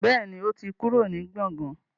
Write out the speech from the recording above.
Bẹ́ẹ̀ni, ó ti kúrò ní gbọ̀gán